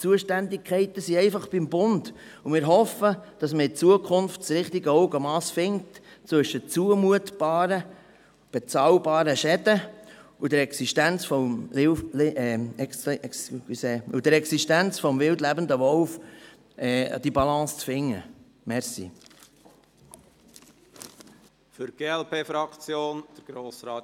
Die Zuständigkeiten sind einfach beim Bund, und wir hoffen, dass man in Zukunft das richtige Augenmass und die Balance zwischen zumutbaren, bezahlbaren Schäden und der Existenz des wildlebenden Wolfs findet.